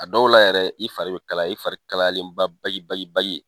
A dɔw la yɛrɛ, i fari bi kalaya, i fari kalayalen ba bagi bagi bagi